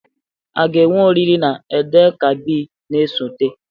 A ga-enwe oriri na Eid-el-Kabir na-esote?